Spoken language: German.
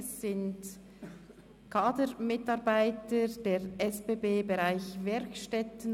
Es handelt sich um Kadermitarbeiter der SBB-Werkstätten.